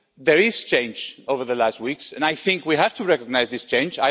there has been change over the last weeks and I think we have to recognise this change.